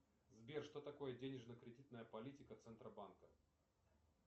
сбер что такое денежно кредитная политика центробанка